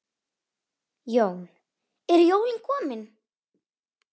Jón: Eru jólin komin?